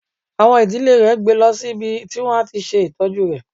Àwọn ìdílé rè gbe lọ sí ibi tí wọ́n á ti ṣe ìtọ́jú rẹ.